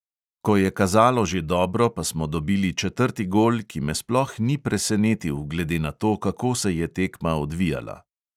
Ko je kazalo že dobro, pa smo dobili četrti gol, ki me sploh ni presenetil, glede na to, kako se je tekma odvijala.